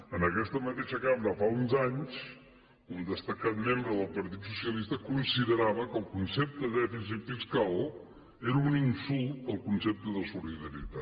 en aquesta mateixa cambra fa uns anys un destacat membre del partit socialista considerava que el concepte de dèficit fiscal era un insult al concepte de solidaritat